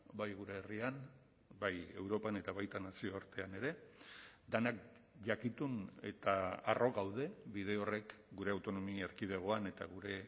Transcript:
bai gure herrian bai europan eta baita nazioartean ere denak jakitun eta harro gaude bide horrek gure autonomia erkidegoan eta gure